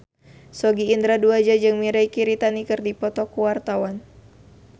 Sogi Indra Duaja jeung Mirei Kiritani keur dipoto ku wartawan